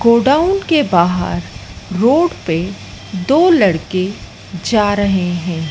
Godown के बाहर road पे दो लड़के जा रहे हैं।